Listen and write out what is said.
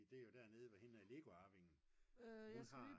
fordi det er jo dernede hvor hende Legoarvingen hun har